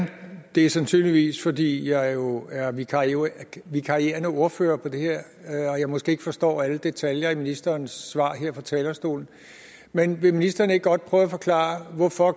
det er sandsynligvis fordi jeg jo er vikarierende vikarierende ordfører på det her og måske ikke forstår alle detaljer i ministerens svar her fra talerstolen men vil ministeren ikke godt prøve at forklare hvorfor